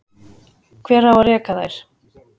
Hver á að reka þær?